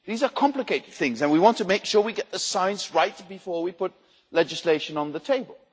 These are complicated things and we want to make sure we get the science right before we put legislation on the table.